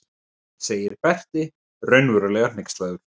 segir Berti raunverulega hneykslaður.